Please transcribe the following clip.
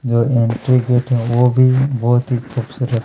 जो entry gate है वो भी बहुत ही खूबसूरत--